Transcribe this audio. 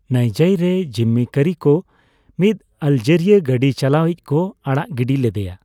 ᱱᱟᱭᱡᱟᱭ ᱨᱮ, ᱡᱤᱢᱢᱤᱠᱟᱹᱨᱤ ᱠᱚ ᱢᱤᱫ ᱟᱞᱡᱤᱨᱤᱭᱚ ᱜᱟᱹᱰᱤ ᱪᱟᱞᱟᱣ ᱤᱡ ᱠᱚ ᱟᱲᱟᱜ ᱜᱤᱰᱤ ᱞᱮᱫᱮᱭᱟ ᱾